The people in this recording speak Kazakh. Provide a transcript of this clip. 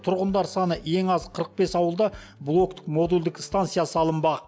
тұрғындар саны ең аз қырық бес ауылда блоктік модульдік станция салынбақ